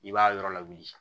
I b'a yɔrɔ lawuli